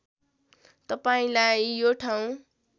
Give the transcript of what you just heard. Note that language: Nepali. तपाईँलाई यो ठाउँ